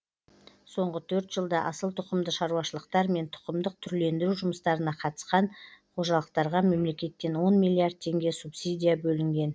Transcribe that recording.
соңғы төрт жылда асыл тұқымды шаруашылықтар мен тұқымдық түрлендіру жұмыстарына қатысқан қожалықтарға мемлекеттен он миллиард теңге субсидия төленген